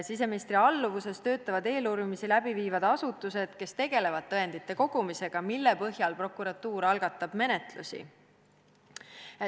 Siseministri alluvuses töötavad eeluurimisi läbi viivad asutused, kes tegelevad tõendite kogumisega, mille põhjal prokuratuur algatab menetlusi.